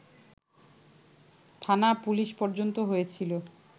থানা-পুলিশ পর্যন্ত হয়েছিল